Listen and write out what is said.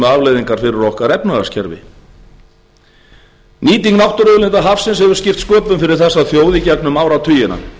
fyrir okkar efnahagskerfi nýting náttúruauðlinda hafsins hefur skipt sköpum fyrir þessa þjóð í gegnum áratugina